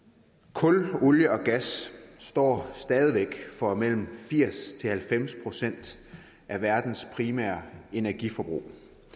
kul olie og gas står stadig væk for mellem firs og halvfems procent af verdens primære energiforbrug